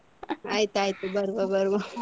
ಹಾ ಆಯ್ತು ಆಯ್ತು ಬರುವ ಬರುವ.